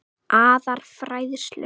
aðra færslu.